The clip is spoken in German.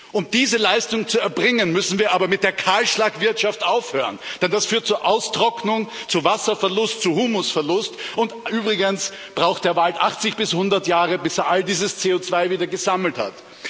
Um diese Leistung zu erbringen, müssen wir aber mit der Kahlschlagwirtschaft aufhören, denn das führt zu Austrocknung, zu Wasserverlust, zu Humusverlust, und übrigens braucht der Wald 80 bis 100 Jahre, bis er all dieses CO2 wieder gesammelt hat.